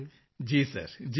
ਮੰਜ਼ੂਰ ਜੀ ਜੀ ਸਰ ਜੀ ਸਰ